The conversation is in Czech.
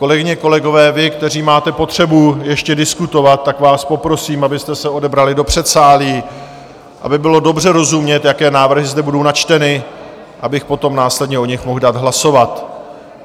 Kolegyně, kolegové, vy, kteří máte potřebu ještě diskutovat, tak vás poprosím, abyste se odebrali do předsálí, aby bylo dobře rozumět, jaké návrhy zde budou načteny, abych potom následně o nich mohl dát hlasovat.